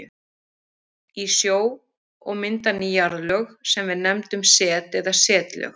í sjó og mynda ný jarðlög sem við nefnum set eða setlög.